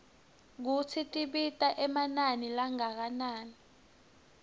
kutsi tibita emanani langakanani